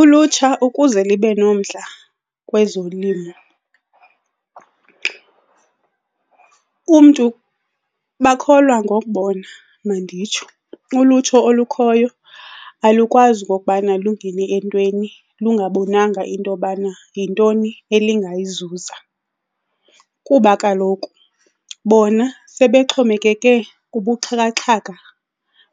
Ulutsha ukuze libe nomdla kwezolimo, umntu, bakholwa ngokubona, manditsho. Ulutsha olukhoyo alukwazi okokubana lungene entweni lungabonanga into yobana yintoni elingayizuza kuba kaloku bona sebexhomekeke kubuxhakaxhaka